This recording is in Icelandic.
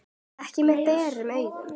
Ekki með berum augum.